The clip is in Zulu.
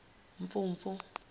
mfumfu